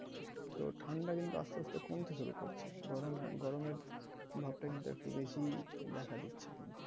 তো ঠাণ্ডা কিন্তু আসতে আসতে কমতে শুরু করছে। গরম~ গরমের ভাবটা কিন্তু একটু বেশি দেখা দিচ্ছে।